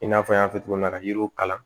I n'a fɔ n y'a fɔ cogo min na yiriw kalan